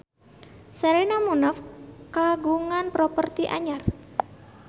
Sherina Munaf kagungan properti anyar